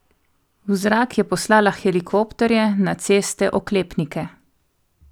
V zrak je poslala helikopterje, na ceste oklepnike.